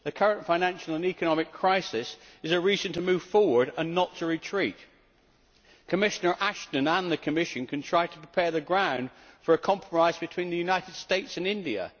The current financial and economic crisis is a reason to move forward and not to retreat. Commissioner Ashton and the Commission can try to prepare the ground for a compromise between the United States and India.